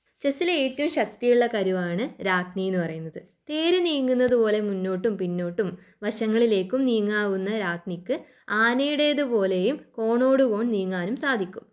ചെസ്സിലെ ഏറ്റവും ശക്തിയുള്ള കരുവാണ്‌ രാജ്ഞി എന്ന് പറയുന്നത്. തേര് നീങ്ങുന്നത് പോലെ മുന്നോട്ടും പിന്നോട്ടും വശങ്ങളിലേക്കും നീങ്ങാവുന്ന രാജ്ഞിക്ക് ആനയുടെതു പോലെയും കോണോടു കോൺ നീങ്ങാനും സാധിക്കും.